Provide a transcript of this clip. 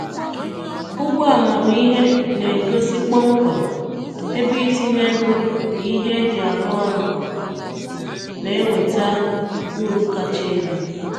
Ugbo amamihe na-egosi kpọmkwem ebe itinye ego na ihe eji arụ ọrụ na-eweta uru kacha elu.